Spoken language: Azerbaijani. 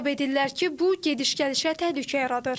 Hesab edirlər ki, bu gediş-gəlişə təhlükə yaradır.